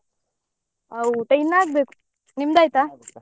ಊಟ ಇನ್ನ ಆಗ್ಬೇಕು. ನಿಮ್ದು ಆಯ್ತಾ?